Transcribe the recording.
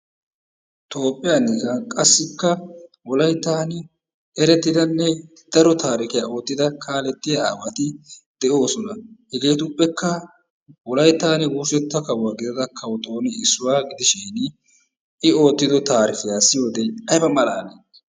Toophiya giddon qassikka wolayttaani erettidanne daro taarikiya oottida kalettiya aawati de'oosona. Hegeetuppekka wolayttan wursetta kawo gididda kawo tooni issuwa gidishin I oottido taarikkiya siyiyode ayba malaalii?